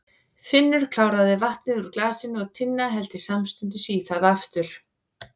Finnur kláraði vatnið úr glasinu og Tinna hellti samstundis í það aftur.